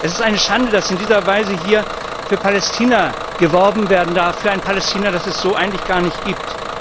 Es ist eine Schande, dass in dieser Weise hier für Palästina geworben werden darf, für ein Palästina, das es so eigentlich gar nicht gibt.